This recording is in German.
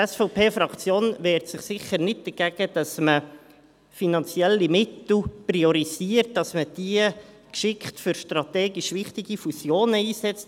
Die SVP-Fraktion wehrt sich sicher nicht dagegen, dass man finanzielle Mittel priorisiert und man diese geschickt für strategisch wichtige Fusionen einsetzt.